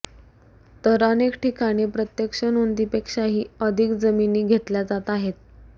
तर अनेक ठिकाणी प्रत्यक्ष नोंदीपेक्षाही अधिक जमिनी घेतल्या जात आहेत